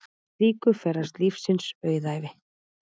Í slíku felast lífsins auðæfi.